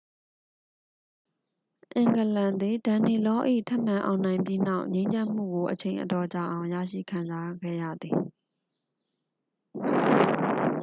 အင်္ဂလန်သည် danelaw ၏ ထပ်မံအောင်နိုင်ပြီးနောက် ငြိမ်းချမ်းမှုကို အချိန်အတော်ကြာအောင် ရရှိခံစားခဲ့ရသည်